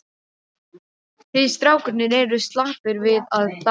Þið strákarnir eruð slappir við að dansa.